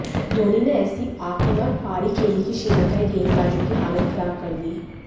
धोनी ने ऐसी आक्रामक पारी खेली कि श्रीलंकाई गेंदबाजों की हालत खराब कर दी